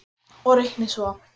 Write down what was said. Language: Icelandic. Og reiknið svo.